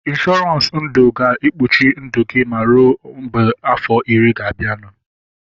Ịnshọransị ndụ ga-ekpuchi ndụ gị ma rue mgbe afọ iri ga-abianu